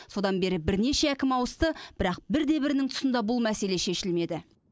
содан бері бірнеше әкім ауысты бірақ бір де бірінің тұсында бұл мәселе шешілмеді